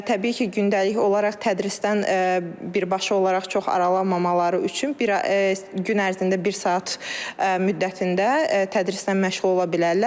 Təbii ki, gündəlik olaraq tədrisdən birbaşa olaraq çox aralanmamaları üçün gün ərzində bir saat müddətində tədrisdən məşğul ola bilərlər.